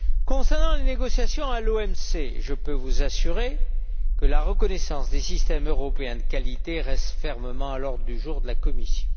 Concernant les négociations à l'OMC, je peux vous assurer que la reconnaissance des systèmes européens de qualité reste fermement à l'ordre du jour de la Commission.